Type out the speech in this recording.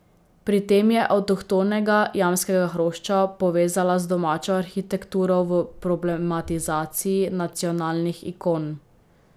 Pri tem je avtohtonega jamskega hrošča povezala z domačo arhitekturo v problematizaciji nacionalnih ikon.